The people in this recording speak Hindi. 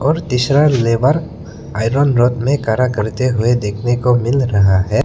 और तीसरा लेबर आयरन रोड में खड़ा करते हुए देखने को मिल रहा है।